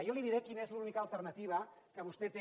jo li diré quina és l’única alternativa que vostè té